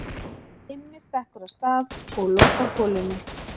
Immi stekkur af stað og lokar holunni.